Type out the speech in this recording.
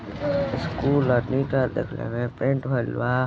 School ह। का देखने में पेंट भइल बा।